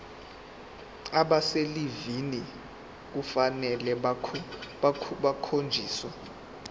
abaselivini kufanele bakhonjiswe